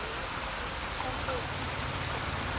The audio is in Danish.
Trunbro